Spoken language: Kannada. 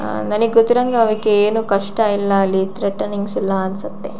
ಆ ನಾನೀಗ ಗೊತ್ತಿರೋಹಾಗೆ ಏನು ಕಷ್ಟ ಇಲ್ಲ ತ್ರೆಟನಿಂಗ್ಸ್ ಇಲ್ಲ ಅನ್ಸತ್ತೆ.